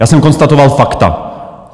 Já jsem konstatoval fakta.